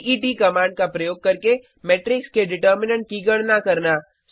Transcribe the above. date command का प्रयोग करके मेट्रिक्स के डिटर्मिनेन्ट की गणना करना